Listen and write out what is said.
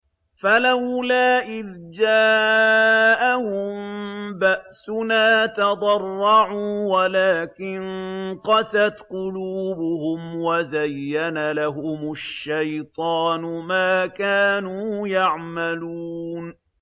فَلَوْلَا إِذْ جَاءَهُم بَأْسُنَا تَضَرَّعُوا وَلَٰكِن قَسَتْ قُلُوبُهُمْ وَزَيَّنَ لَهُمُ الشَّيْطَانُ مَا كَانُوا يَعْمَلُونَ